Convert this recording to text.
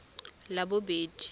labobedi